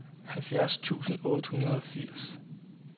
halvfjerds tusind otte hundrede og firs